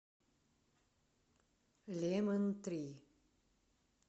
лемон три